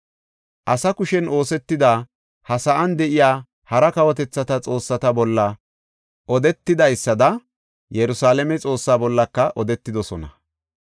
Asa kushen oosetida, ha sa7an de7iya hara kawotethata xoossata bolla odetidaysada Yerusalaame Xoossaa bollaka odetidosona.